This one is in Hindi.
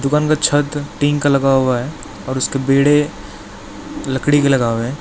दुकान का छत टीन का लगा हुआ है और उसके बेडे लकड़ी के लगा हुआ है।